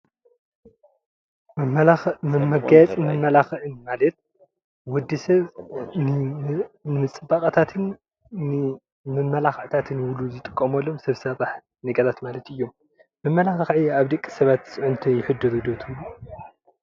መጋየፂ መማላክዒ ማለት ወዲሰብ ንፅባቀታትን ንመማላክዕታትን ኢሉ ዝጥቀመሉን ሰብ ስራሓት ነገራት ማለት እዮም። መማላክዒ ኣብ ደቂ ሰባት ፅዕንቶ የሕድሩ ዶ ትብሉ?